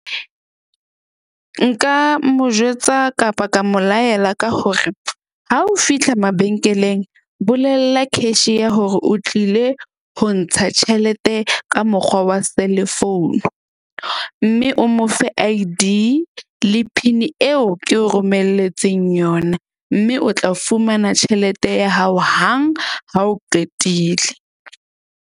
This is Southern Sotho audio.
Nka mo jwetsa kapa ka mo laela ka hore, ha o fihla mabenkeleng bolella cashier hore o tlile ho ntsha tjhelete ka mokgwa wa selefounu. Mme o mo fe I_D le PIN-i eo ke o romelletseng yona. Mme o tla fumana tjhelete ya hao hang ha o qetile.